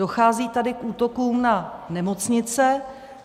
Dochází tady k útokům na nemocnice.